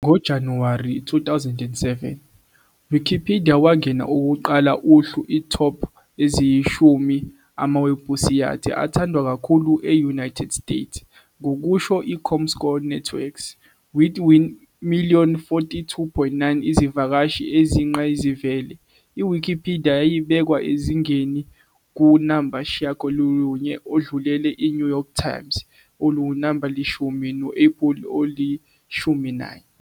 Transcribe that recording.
Ngo-January 2007, Wikipedia wangena okokuqala uhlu top-eziyishumi amawebhusayithi athandwa kakhulu e-United States, ngokusho comScore Networks. With million 42,9 izivakashi eziyingqayizivele, Wikipedia yayibekwe ezingeni number 9, odlulele iNew York Times oluwunamba lishumi, no-Apple olishumi nanye.